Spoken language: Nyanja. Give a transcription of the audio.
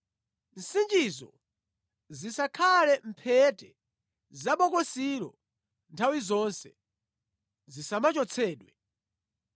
Nsichizo zizikhala mʼmphete za bokosilo nthawi zonse, zisamachotsedwe.